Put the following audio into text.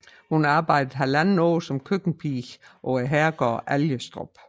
Hun arbejdede halvandet år som køkkenpige på herregården Algestrup